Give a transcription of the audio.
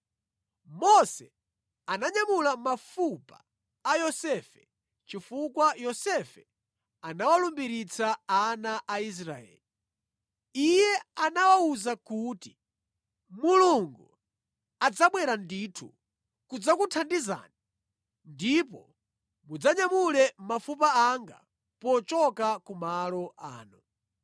Mose ananyamula mafupa a Yosefe chifukwa Yosefe anawalumbiritsa ana a Israeli. Iye anawawuza kuti, “Mulungu adzabwera ndithu kudzakuthandizani, ndipo mudzanyamule mafupa anga pochoka ku malo ano.”